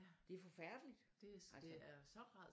Det er forfærdeligt altså